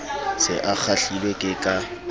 se a kgahlilwe ke ka